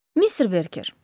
Mister Berger.